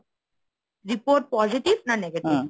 report positive না negative?